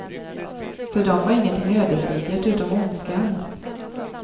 För dem var ingenting ödesdigert utom ondskan.